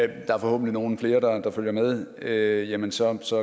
der er forhåbentlig nogle flere der følger med jamen så så